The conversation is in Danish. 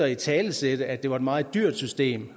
at italesætte at det var et meget dyrt system